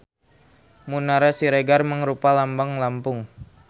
Munara Siger mangrupa lambang Lampung.